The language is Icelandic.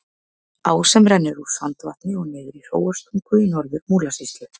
Á sem rennur úr Sandvatni og niður í Hróarstungu í Norður-Múlasýslu.